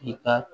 I ka